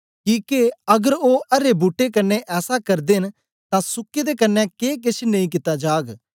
किके अगर ओ अरे बूट्टे कन्ने ऐसा करदे न तां सुके दे कन्ने के केछ नेई कित्ता जाग